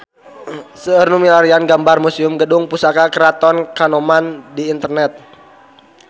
Seueur nu milarian gambar Museum Gedung Pusaka Keraton Kanoman di internet